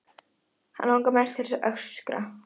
Hann langar mest til að öskra.